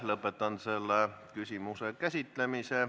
Lõpetan selle küsimuse käsitlemise.